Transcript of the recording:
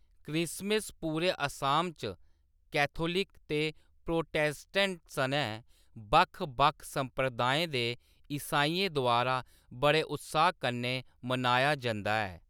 Christmas पूरे असम च Catholic ते प्रोटेस्टेंट सनै बक्ख-बक्ख संप्रदायें दे ईसाइयें द्वारा बड़े उत्साह्‌‌ कन्नै मनाया जंदा ऐ।